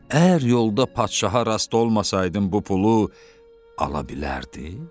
Əgər yolda padşaha rast olmasaydın bu pulu ala bilərdin?